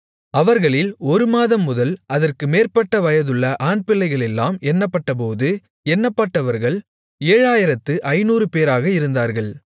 அவர்களில் ஒரு மாதம் முதல் அதற்கு மேற்பட்ட வயதுள்ள ஆண்பிள்ளைகளெல்லாம் எண்ணப்பட்டபோது எண்ணப்பட்டவர்கள் 7500 பேராக இருந்தார்கள்